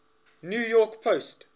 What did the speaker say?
new york post